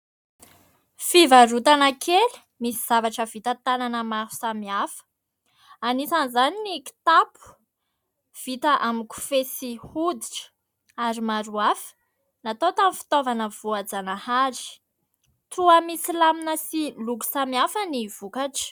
Fivarotana kely misy zavatra vita tanana maro samihafa, anisan'izany ny kitapo vita amin'ny kofehy sy hoditra ary maro hafa, natao tamin'ny fitaovana voajanahary toa misy lamina sy loko samihafa ny vokatra.